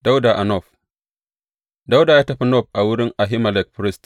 Dawuda a Nob Dawuda ya tafi Nob a wurin Ahimelek firist.